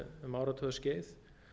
um áratugaskeið